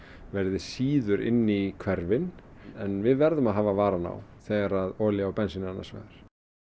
verði síður inni í hverfin en við verðum að hafa varann á þegar olía og bensín er annars vegar